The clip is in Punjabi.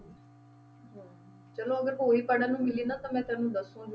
ਚਲੋ ਅਗਰ ਹੋਈ ਪੜ੍ਹਨ ਨੂੰ ਮਿਲੀ ਨਾ ਤਾਂ ਮੈਂ ਤੈਨੂੰ ਦੱਸੂ